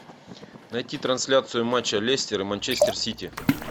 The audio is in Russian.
найти трансляцию матча лестер и манчестер сити